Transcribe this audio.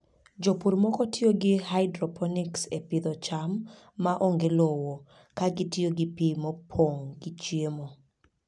Jopur moko tiyo gi hydroponics e pidho cham ma onge lowo, ka gitiyo gi pi mopong' gi chiemo.